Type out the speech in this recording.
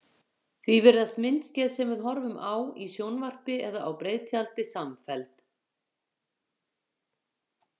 Því virðast myndskeið sem við horfum á í sjónvarpi eða á breiðtjaldi samfelld.